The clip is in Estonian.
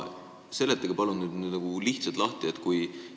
Seletage palun lihtsalt lahti!